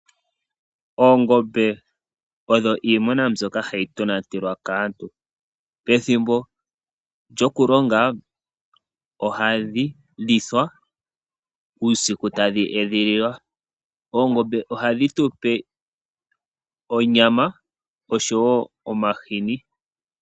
Oongombe odho iimuna mbyoka hayi tonatelwa kaantu. Pethimbo lyokulonga ohadhi lithwa, uusiku tadhi edhililwa. Oongombe ohadhi tupe onyama, oshowo omahini.